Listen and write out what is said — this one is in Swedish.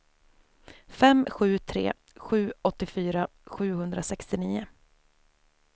fem sju tre sju åttiofyra sjuhundrasextionio